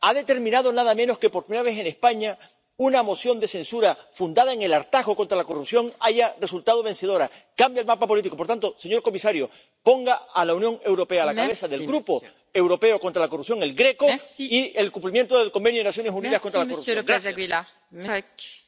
Ha determinado nada menos que, por primera vez en España, una moción de censura fundada en el hartazgo contra la corrupción haya resultado vencedora. Cambia el mapa político. Por tanto, señor comisario, ponga a la Unión Europea a la cabeza del Grupo europeo contra la corrupción, el GRECO, y del cumplimiento de la Convención de las Naciones Unidas contra la Corrupción.